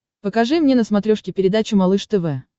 покажи мне на смотрешке передачу малыш тв